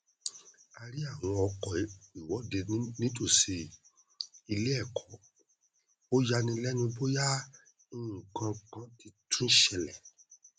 a rí àwọn ọkọ ìwọdé nítòsí iléẹkọ ó ya ni lẹnu bóyá nnkankan ti tún ṣẹlẹ